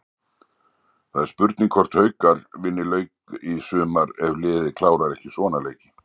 Það er spurning hvort Haukar vinni leik í sumar ef liðið klárar ekki svona leiki.